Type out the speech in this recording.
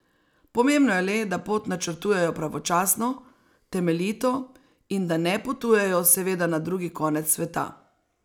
Pomembno je le, da pot načrtujejo pravočasno, temeljito in da ne potujejo seveda na drugi konec sveta.